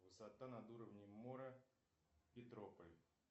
высота над уровнем моря петрополь